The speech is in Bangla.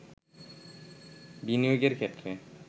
বিনিয়োগের ক্ষেত্রে